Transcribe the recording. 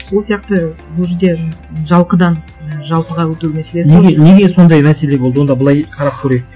сол сияқты бұл жерде жалқыдан і жалпыға өту мәселесі неге неге сондай мәселе болды онда былай қарап көрейік